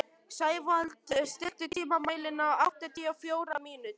Sævald, stilltu tímamælinn á áttatíu og fjórar mínútur.